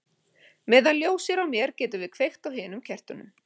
Meðan ljós er á mér getum við kveikt á hinum kertunum.